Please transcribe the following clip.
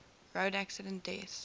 road accident deaths